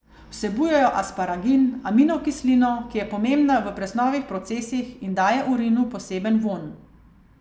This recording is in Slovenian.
Vsebujejo asparagin, aminokislino, ki je pomembna v presnovnih procesih, in daje urinu poseben vonj.